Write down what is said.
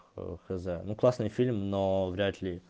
оо хз ну классный фильм но вряд ли